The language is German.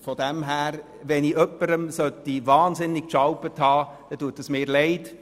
Falls ich jemanden enorm vor den Kopf gestossen haben sollte, tut es mir leid.